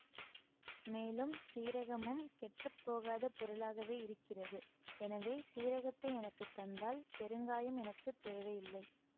மேலும் சீரகமும் கெட்டுப்போகாத பொருளாகவே இருக்கிறது எனவே சீரகத்தை எனக்கு தந்தால் பெருங்காயம் எனக்கு தேவையில்லை